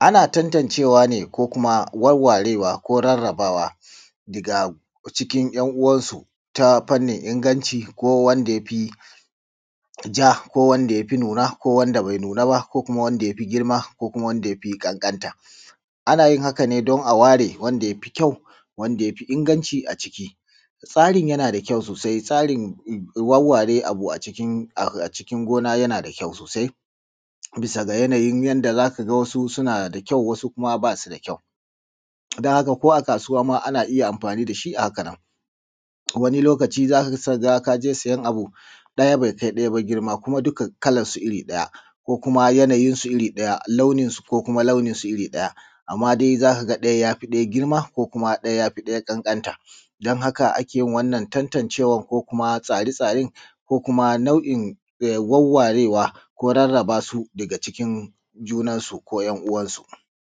Ana tantancewa ne ko kuma warwarewa ko kuma rarrabewa daga cikin ‘yan uwansu ta fannin inganci ko wanda ya fi ja ko wanda ya fi nuna ko wanda bai nuna ba ko kuma wanda ya fi girma ko kuma wanda ya fi ƙanƙanta. Ana yin haka ne don a ware wanda ya fi ƙyau wanda ya fi inganci a ciki. Tsarin yana da ƙyau sosai. Tsarin warware abu a cikin gona yana da ƙyau sosai bisa ga yanayin yanda za ka ga wasu suna da ƙyau wasu kuma ba su da ƙyau, don haka ko a kasuwa ma ana iya amfani da shi a haka nan. Wani lokaci za ka ga ka je sayan abu ɗaya bai kai ɗaya ba girma ba kuma dak kalarsu iri ɗaya ko kuma yanayinsu iri ɗaya launinsu iri ɗaya. Amma dai za ka ga ɗaya ya fi ɗaya girma ko kuma ɗaya ya fi ɗaya ƙanƙanta. Don haka ake yin wanna n tantancewar ko kuma tsaːre-tsaːren ko kuma nau'in wawwarewa ko rarraba su daga cikin junansu ko ‘yan uwansu.